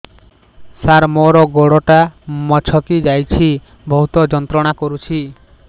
ସାର ମୋର ଗୋଡ ଟା ମଛକି ଯାଇଛି ବହୁତ ଯନ୍ତ୍ରଣା କରୁଛି